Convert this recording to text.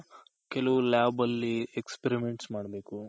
ಕೆಲವ್ Lab ಅಲ್ಲಿ Experiment ಮಾಡ್ಬೇಕು